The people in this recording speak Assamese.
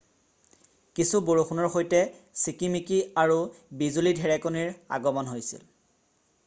কিছু বৰষুণৰ সৈতে চিকিমিকি আৰু বিজুলী ধেৰেকণীৰ আগমণ হৈছিল